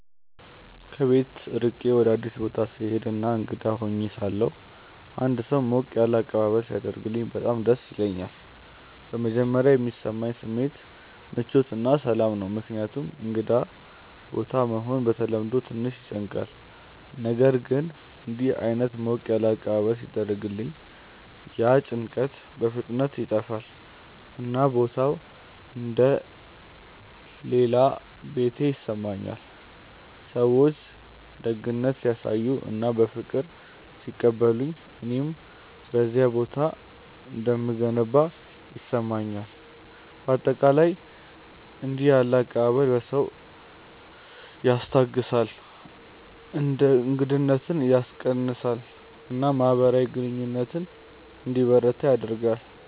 ከቤት ርቄ ወደ አዲስ ቦታ ስሄድ እና እንግዳ ሆኜ ሳለሁ አንድ ሰው ሞቅ ያለ አቀባበል ሲያደርግልኝ በጣም ደስ ይለኛል። በመጀመሪያ የሚሰማኝ ስሜት ምቾት እና ሰላም ነው፣ ምክንያቱም እንግዳ ቦታ መሆን በተለምዶ ትንሽ ያስጨንቃል። ነገር ግን እንዲህ ዓይነት ሞቅ ያለ አቀባበል ሲደርሰኝ ያ ጭንቀት በፍጥነት ይጠፋል፣ እና ቦታው እንደ “ ሌላ ቤቴ ” ይሰማኛል። ሰዎች ደግነት ሲያሳዩ እና በፍቅር ሲቀበሉኝ እኔም በዚያ ቦታ እንደምገባ ይሰማኛል። በአጠቃላይ እንዲህ ያለ አቀባበል ሰውን ያስታግሳል፣ እንግዳነትን ያስቀንሳል እና ማህበራዊ ግንኙነት እንዲበረታ ያደርጋል።